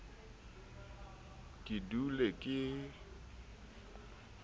ke dule ke kgwabitlwa ke